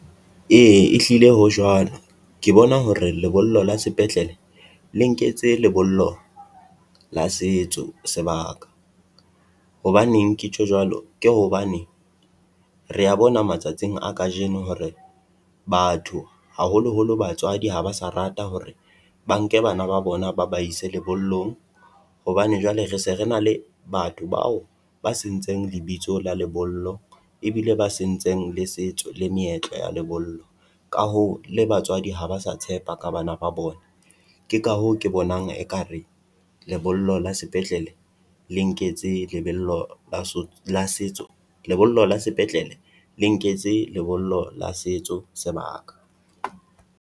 Ee ehlile ho jwalo, ke bona hore lebollo la sepetlele le nketse lebollo la setso sebaka, hobaneng ke tjho jwalo. Ke hobane re ya bona matsatsing a kajeno hore batho haholoholo batswadi ha ba sa rata hore ba nke bana ba bona ba ba ise lebollong. Hobane jwale re se re na le batho bao ba sentseng lebitso la lebollo ebile ba sentseng le setso le meetlo ya lebollo. Ka hoo le batswadi ha ba sa tshepa ka bana ba bona, ke ka hoo ke bonang ekare lebollo la sepetlele le nketse lebello la la setso. Lebollo la sepetlele, le nketse lebollo la setso sebaka.